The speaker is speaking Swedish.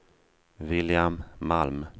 William Malm